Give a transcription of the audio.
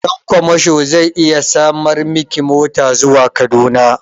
Ɗan kwamasho zai iya samar miki mota zuwa Kaduna.